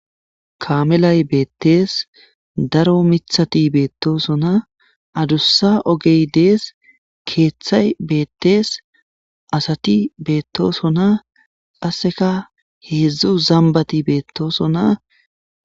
kamelay beettees daro mithati beettosonna adussa ogey dees keeththay beettees asati beettoosona qasseka heedzdzu zambati beettoosonna